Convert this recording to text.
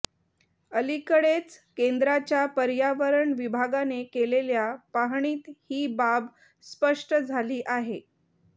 अलीकडेच केंद्राच्या पर्यावरण विभागाने केलेल्या पाहणीत ही बाब स्पष्ट झाली आहे